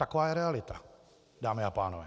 Taková je realita, dámy a pánové.